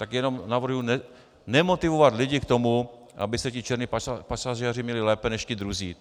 Tak jenom navrhuju nemotivovat lidi k tomu, aby se ti černí pasažéři měli lépe než ti druzí.